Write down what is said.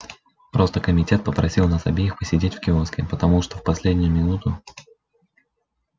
просто комитет попросил нас обеих посидеть в киоске потому что в последнюю минуту